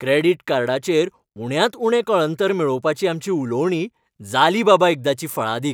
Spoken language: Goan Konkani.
क्रेडिट कार्डाचेर उण्यांत उणें कळंतर मेळोवपाचीं आमचीं उलोवणीं जालीं बाबा एकदाचीं फळादीक.